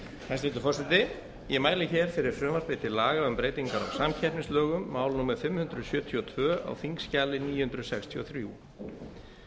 hæstvirtur forseti ég mæli hér fyrir frumvarpi til laga um breytingar á samkeppnislögum mál númer fimm hundruð sjötíu og tvö á þingskjali níu hundruð sextíu og þrjú